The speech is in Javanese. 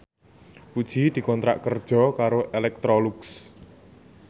Puji dikontrak kerja karo Electrolux